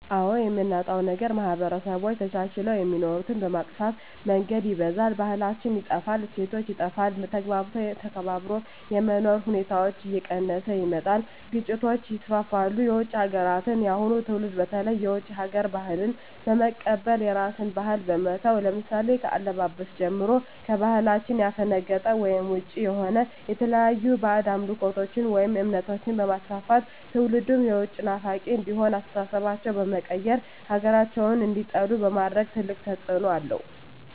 አዎ የምናጣዉ ነገር ማህበረሰቦች ተቻችለዉ የሚኖሩትን በመጥፋ መንገድ ይበርዛል ባህላችን ይጠፋል እሴቶች ይጠፋል ተግባብቶ ተከባብሮ የመኖር ሁኔታዎች እየቀነሰ ይመጣል ግጭቶች ይስፍፍሉ የዉጭ ሀገራትን የአሁኑ ትዉልድ በተለይ የዉጭ ሀገር ባህልን በመቀበል የራስን ባህል በመተዉ ለምሳሌ ከአለባበስጀምሮ ከባህላችን ያፈነቀጠ ወይም ዉጭ የሆነ የተለያዩ ባእጅ አምልኮችን ወይም እምነቶችንበማስፍፍት ትዉልዱም የዉጭ ናፋቂ እንዲሆን አስተሳሰባቸዉ በመቀየር ሀገራቸዉን እንዲጠሉ በማድረግ ትልቅ ተፅዕኖ አለዉ